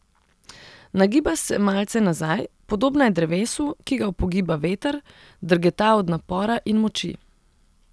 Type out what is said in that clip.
Nagiba se malce nazaj, podobna je drevesu, ki ga upogiba veter, drgeta od napora in moči.